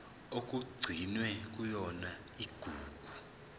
okugcinwe kuyona igugu